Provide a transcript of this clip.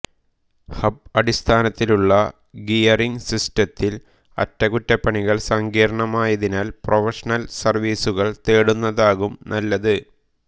hub അടിസ്ഥാനത്തിലുള്ള gearing സിസ്റ്റങ്ങളിൽ അറ്റകുറ്റപ്പണികൾ സങ്കീർണ്ണമായതിനാൽ പ്രൊഫഷണൽ സെർവീസുകൾ തേടുന്നതാകും നല്ലത്